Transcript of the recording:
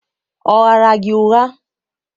ọ ghaara gi ụgha?